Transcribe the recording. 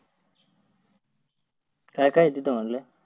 काय काय आहे तिथं म्हटलं?